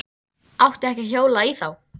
Átti ekki að hjóla í þá.